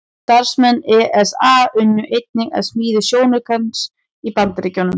Starfsmenn ESA unnu einnig að smíði sjónaukans í Bandaríkjunum.